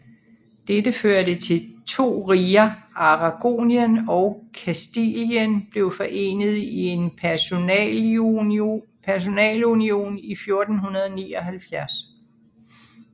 Dette førte til de to riger Aragonien og Kastilien blev forenet i en personalunion i 1479